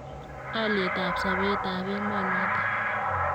Alietab sobet ab emonotok.